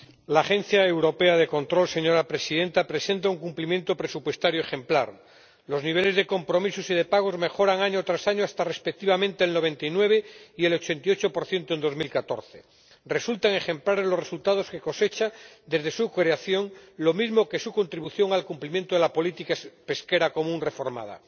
Señora Presidenta, la Agencia Europea de Control de la Pesca presenta un cumplimiento presupuestario ejemplar. Los niveles de compromisos y de pagos mejoran año tras año hasta, respectivamente, el 99 y el 88 en 2014. Resultan ejemplares los resultados que cosecha desde su creación, lo mismo que su contribución al cumplimiento de la política pesquera común reformada.